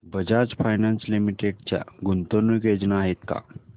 Bajaj finance limited च्या गुंतवणूक योजना आहेत का